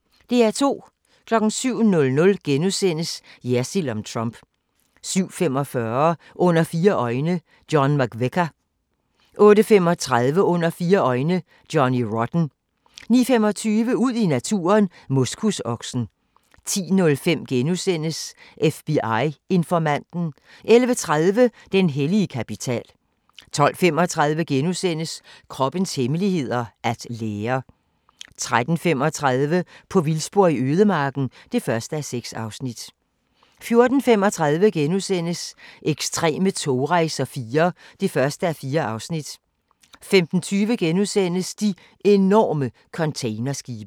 07:00: Jersild om Trump * 07:45: Under fire øjne - John McVicar 08:35: Under fire øjne – Johnny Rotten 09:25: Ud i naturen: Moskusoksen 10:05: FBI-informanten * 11:30: Den hellige kapital 12:35: Kroppens hemmeligheder: At lære * 13:35: På vildspor i ødemarken (1:6) 14:35: Ekstreme togrejser IV (1:4)* 15:20: De enorme containerskibe *